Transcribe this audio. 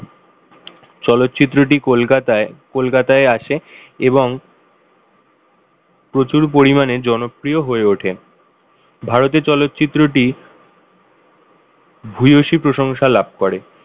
চলচ্চিত্রটি কলকাতায় কলকাতায় আসে এবং প্রচুর পরিমাণে জনপ্রিয় হয়ে ওঠেন ভারতে চলচ্চিত্রটি ভূয়সী প্রশংসা লাভ করে।